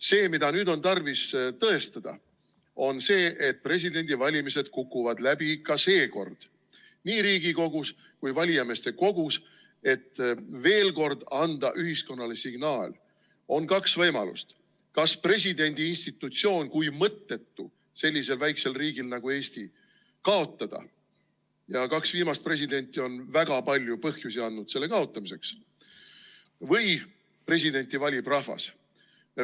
See, mida nüüd on tarvis tõestada, on see, et presidendivalimised kukuvad läbi ka seekord, nii Riigikogus kui ka valijameeste kogus, et veel kord anda ühiskonnale signaal: on kaks võimalust, kas presidendi institutsioon kui mõttetu sellisel väikesel riigil nagu Eesti kaotada – kaks viimast presidenti on selle kaotamiseks väga palju põhjusi andnud – või lasta presidenti valida rahval.